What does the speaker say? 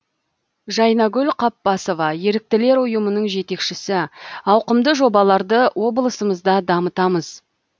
жайнагүл қаппасова еріктілер ұйымының жетекшісі ауқымды жобаларды облысымызда дамытамыз